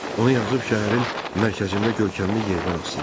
Onu yazıb şəhərin mərkəzində görkəmli yerdən asdılar.